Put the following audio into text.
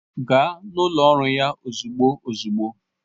Gaa n'ụlọ ọrụ ya ozugbo ozugbo!